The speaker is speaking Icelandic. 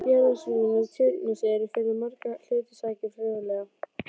Jarðlagasyrpurnar á Tjörnesi eru fyrir margra hluta sakir fróðlegar.